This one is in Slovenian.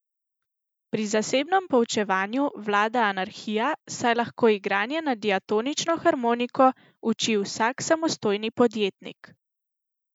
Pri zasebnem poučevanju vlada anarhija, saj lahko igranje na diatonično harmoniko uči vsak samostojni podjetnik.